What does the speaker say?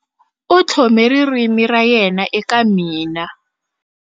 U tlhome ririmi ra yena eka mina.